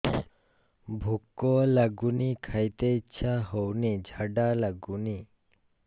ଭୁକ ଲାଗୁନି ଖାଇତେ ଇଛା ହଉନି ଝାଡ଼ା ଲାଗୁନି